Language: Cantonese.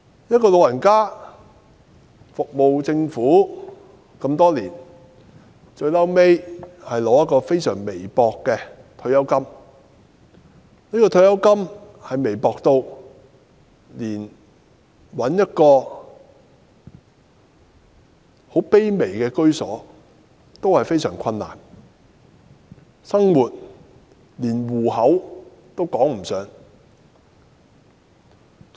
一位長者服務政府多年，最終只得到非常微薄的退休金，無法讓她找到一處很卑微的居所，生活方面就連糊口也談不上。